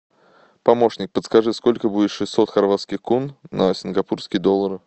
помощник подскажи сколько будет шестьсот хорватских кун на сингапурский доллар